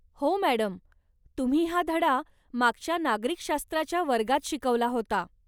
हो मॅडम तुम्ही हा धडा मागच्या नागरिकशास्त्राच्या वर्गात शिकवला होता.